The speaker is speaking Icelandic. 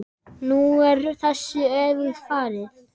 Nú er þessu öfugt farið.